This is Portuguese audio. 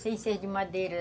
Sem ser de madeira.